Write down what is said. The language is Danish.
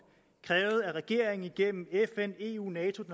krævet at regeringen gennem fn eu nato